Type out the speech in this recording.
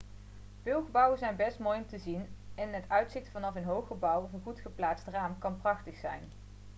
veel gebouwen zijn best mooi om te zien en het uitzicht vanaf een hoog gebouw of een goed geplaatst raam kan prachtig zijn